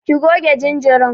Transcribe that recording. Ki goge jinjirin.